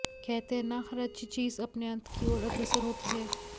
कहते हैं न हर अच्छी चीज़ अपने अंत की ओर अग्रसर होती है